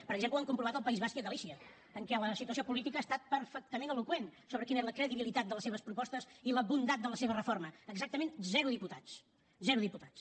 per exemple ho han comprovat al país basc i a galícia en què la situació política ha estat perfectament eloqüent sobre quina és la credibilitat de les seves propostes i la bondat de la seva reforma exactament zero diputats zero diputats